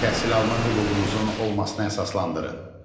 Təhsil alma hüququnuzun olmasına əsaslandırın.